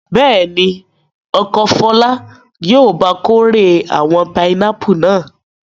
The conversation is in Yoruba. Bẹ́ẹ̀ ni, ọkọ Fọlá yóò ba kórè àwọn pinápù náà.